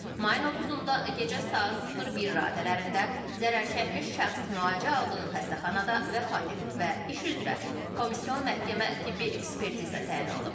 Mayın 30-da gecə saat 01 radələrində zərərçəkmiş şəxs müalicə aldığı xəstəxanada vəfat edib və iş üzrə komissyon məhkəmə tibbi ekspertiza təyin olunub.